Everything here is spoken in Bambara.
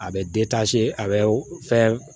A bɛ a bɛ fɛn